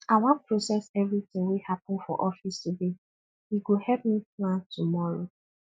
i wan process everytin wey happen for office today e go help me plan tomorrow